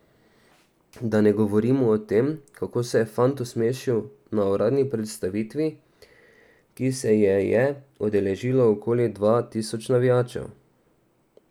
Da ne govorimo o tem, kako se je fant osmešil na uradni predstavitvi, ki se je je udeležilo okoli dva tisoč navijačev.